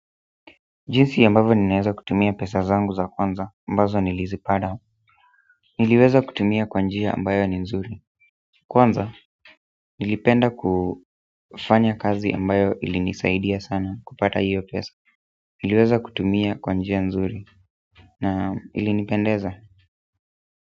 Jinsi ambavyo ninaeza kutumia pesa zangu za kwanza ambazo nilizipada niliweza kutumia kwa njia ambayo ni nzuri kwanza nilipenda kufanya kazi ambayo ilinisaidia sana kupata hiyo pesa niliweza kutumia kwa njia nzuri na ilinipendeza.